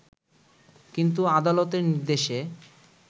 কিন্তু আদালতের নির্দেশে